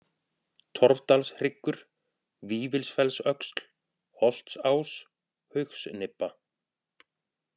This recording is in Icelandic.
Torfdalshryggur, Vífilsfellsöxl, Holtsás, Haugsnibba